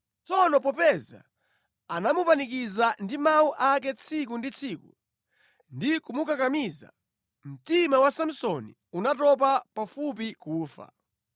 Tsono popeza anamupanikiza ndi mawu ake tsiku ndi tsiku ndi kumukakamiza, mtima wa Samsoni unatopa pafupi kufa.